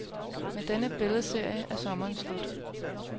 Med denne billedserie er sommeren slut.